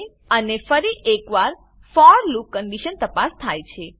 અને ફરી એક વાર ફોર લૂપ કંડીશન તપાસ થાય છે